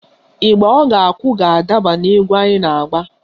Ịgba ọ ga-akụ ga-adaba n'egwu anyị na-agba